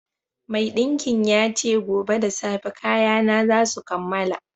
Maiɗinkin ya ce gobe da safe kayana za su kammala